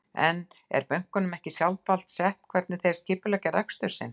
En er bönkunum ekki sjálfsvald sett hvernig þeir skipuleggja rekstur sinn?